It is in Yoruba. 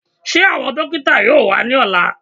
Ṣé àwọn dókítà yóò wá ní ọ̀la?